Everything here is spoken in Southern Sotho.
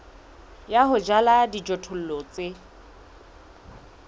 ya ho jala dijothollo tse